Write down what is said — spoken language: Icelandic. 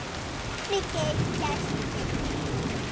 Mig geym í gæslu þinni.